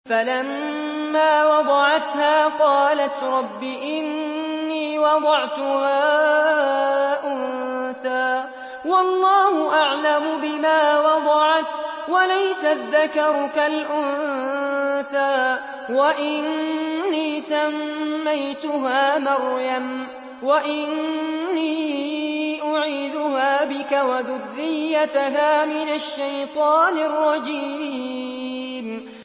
فَلَمَّا وَضَعَتْهَا قَالَتْ رَبِّ إِنِّي وَضَعْتُهَا أُنثَىٰ وَاللَّهُ أَعْلَمُ بِمَا وَضَعَتْ وَلَيْسَ الذَّكَرُ كَالْأُنثَىٰ ۖ وَإِنِّي سَمَّيْتُهَا مَرْيَمَ وَإِنِّي أُعِيذُهَا بِكَ وَذُرِّيَّتَهَا مِنَ الشَّيْطَانِ الرَّجِيمِ